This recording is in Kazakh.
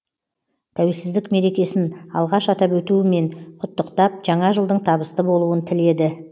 тәуелсіздік мерекесін алғаш атап өтуімен құттықтап жаңа жылдың табысты болуын тіледі